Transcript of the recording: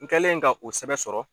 N kɛlen ka o sɛbɛ sɔrɔ